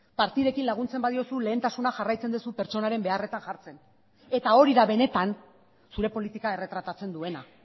partidekin laguntzen badiozu lehentasuna jarraitzen duzu pertsonaren beharretan jartzen eta hori da benetan zure politika erretratatzen duena